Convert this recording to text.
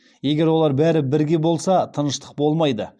егер олар бәрі бірге болса тыныштық болмайды